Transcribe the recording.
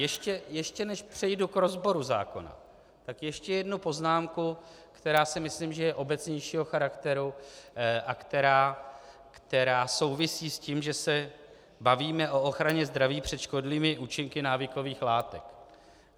Ještě než přejdu k rozboru zákona, tak ještě jednu poznámku, která si myslím, že je obecnějšího charakteru, a která souvisí s tím, že se bavíme o ochraně zdraví před škodlivými účinky návykových látek.